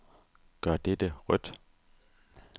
Gør dette rødt.